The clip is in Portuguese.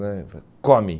né Falei, come.